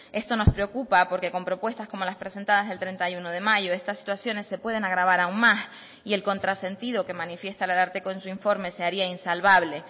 esto nos preocupa porque con propuestas como las presentadas el treinta y uno de mayo estas situaciones se pueden agravar aún más y el contrasentido que manifiesta el ararteko en su informe se haría insalvable